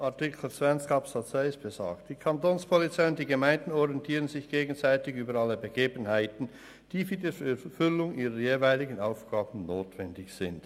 Artikel 20 Absatz 1 besagt: «Die Kantonspolizei und die Gemeinden orientieren sich gegenseitig über alle Begebenheiten, die für die Erfüllung ihrer jeweiligen Aufgaben notwendig sind.